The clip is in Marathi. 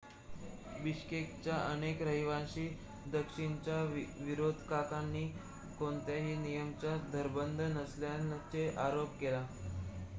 बिश्केकच्या अनेक रहिवाशांनी दक्षिणेच्या विरोधकांना कोणत्याही नियमांचा धरबंध नसल्याचा आरोप केला